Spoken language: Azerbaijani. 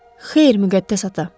Xeyr, Müqəddəs ata.